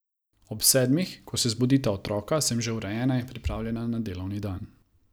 Ob sedmih, ko se zbudita otroka, sem že urejena in pripravljena na delovni dan.